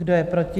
Kdo je proti?